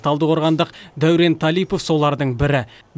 талдықорғандық дәурен талипов солардың бірі